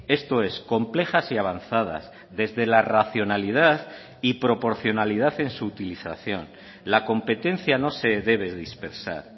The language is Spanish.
esto es complejas y avanzadas desde la racionalidad y proporcionalidad en su utilización la competencia no se debe dispersar